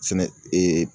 Fɛnɛ ee